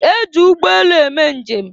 E ji ụgbọelu eme njem.